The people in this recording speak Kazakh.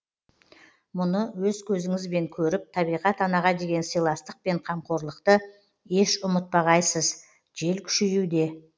мұны өз көзіңізібен көріп табиғат анаға деген сыйластық пен қамқорлықты еш ұмытпағайсыз жел күшеюде